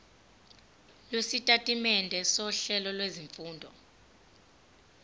lwesitatimende sohlelo lwezifundo